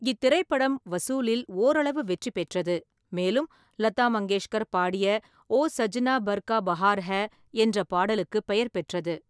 இத்திரைப்படம் வசூலில் ஓரளவு வெற்றி பெற்றது, மேலும் லதா மங்கேஷ்கர் பாடிய “ஓ சஜ்னா பர்கா பஹார் ஐ” என்ற பாடலுக்குப் பெயர் பெற்றது.